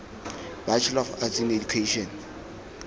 bachelor of arts in education